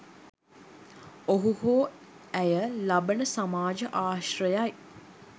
ඔහු හෝ ඇය ලබන සමාජ ආශ්‍රයයි.